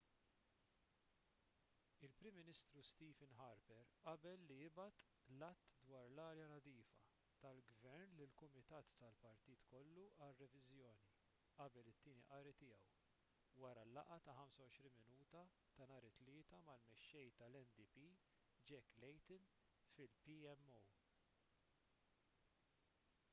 il-prim ministru stephen harper qabel li jibgħat l-att dwar l-arja nadifa tal-gvern lil kumitat tal-partit kollu għal reviżjoni qabel it-tieni qari tiegħu wara l-laqgħa ta' 25 minuta ta' nhar it-tlieta mal-mexxej tal-ndp jack layton fil-pmo